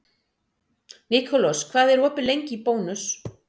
Nikolas, hvað er opið lengi í Bónus?